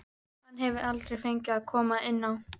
Hann hefur aldrei fengið að koma inn á.